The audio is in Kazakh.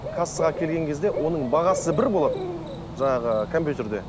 кассаға келген кезде оның бағасы бір болады жаңағы компьютерде